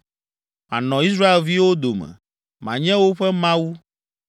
Manɔ Israelviwo dome, manye woƒe Mawu,